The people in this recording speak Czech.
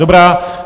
Dobrá.